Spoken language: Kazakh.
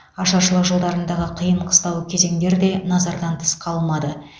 ашаршылық жылдарындағы қиын қыстау кезеңдер де назардан тыс қалмады